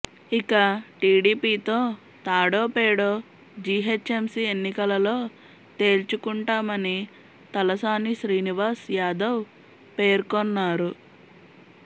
ఇక టిడిపితో తాడో పేడో జీహెచ్ఎంసీ ఎన్నికలలో తేల్చుకుంటామని తలసాని శ్రీనివాస్ యాదవ్ పేర్కొన్నారు